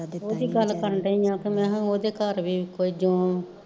ਓਦੀ ਗੱਲ ਕਰਨ ਡਈ ਆਂ ਕਿ ਮਹਾਂ ਓਦੇ ਘਰ ਵੀ ਕੋਈ ਜੂੰ